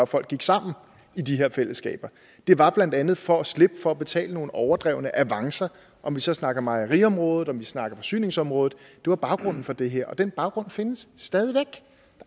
folk gik sammen i de her fællesskaber det var blandt andet for at slippe for at betale nogle overdrevne avancer om vi så snakker mejeriområdet om vi snakker forsyningsområdet det var baggrunden for det her og den baggrund findes stadig væk